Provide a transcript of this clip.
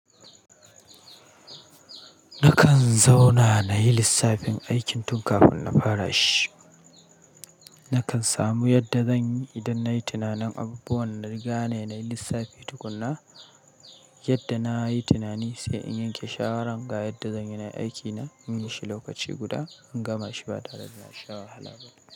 Nakan zauna na yi lissafin aikin tun kafin na fara shi. Nakan samu yadda zan yi idan nayi tunanin abubuwan da riga na yi lissafi tukunna, yadda na yi tunani sai in yanke shawaran ga yadda zan yinai aiki na. In yi shi lokaci guda in gama shi ba tare da na sha wahala ba.